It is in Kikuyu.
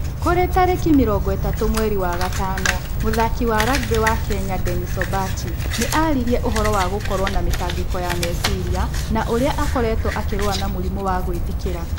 Kũrĩ tarĩki mĩrongo ĩthatu mweri wa gatano, mũthaaki wa rugby wa kenya Dennis Ombachi nĩ aaririe ũhoro wa gũkorwo na mĩtangĩko ya meciria na ũrĩa akoretwo akĩrũa na mũrimũ wa gwĩthikĩra.